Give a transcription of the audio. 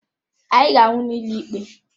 Anyị ga-ahụ n'ụlọ ikpe!